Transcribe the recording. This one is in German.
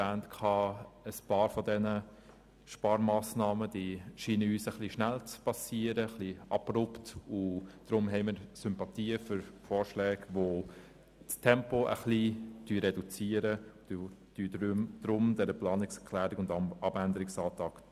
Ein paar dieser Sparmassnahmen werden etwas zu rasch eingeführt, deshalb haben wir Sympathien für Vorschläge, die versuchen, das Tempo etwas zu reduzieren.